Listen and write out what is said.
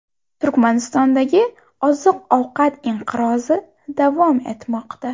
Turkmanistondagi oziq-ovqat inqirozi davom etmoqda.